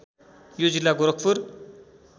यो जिल्ला गोरखपुर